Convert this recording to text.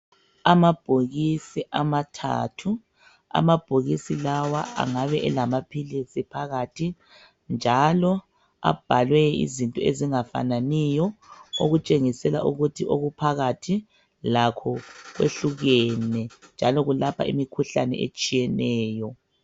Amabhokisi amathathu . Amabhokisi lawa angabe elamaphilisi phakathi njalo abhalwe izinto ezingafananiyo okutshengisela ukuthi okuphakathi lakho kwehlukene njalo kulapha imikhuhlane etshiyeneyo .